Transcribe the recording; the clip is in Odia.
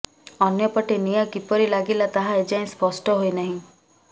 ଅନ୍ୟପଟେ ନିଆଁ କିପରି ଲାଗିଲା ତାହା ଏଯାଏଁ ସ୍ପଷ୍ଟ ହୋଇନାହିଁ